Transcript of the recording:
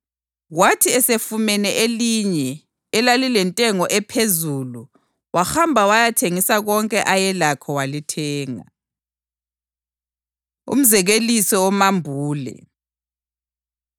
Kwathi esefumene elinye elalilentengo ephezulu wahamba wayathengisa konke ayelakho walithenga.” Umzekeliso Womambule